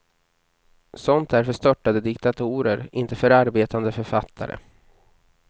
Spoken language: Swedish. Sånt är för störtade diktatorer, inte för arbetande författare.